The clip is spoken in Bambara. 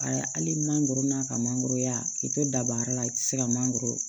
Ayiwa hali mangɔrɔn'a ka mangɔronya k'i to daba yɔrɔ la i tɛ se ka mangɔrɔ